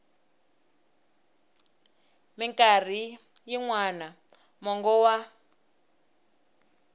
mikarhi yin wana mongo wa